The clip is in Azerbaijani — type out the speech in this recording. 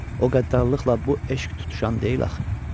O qəddarlıqla bu eşq tutuşan deyil axı.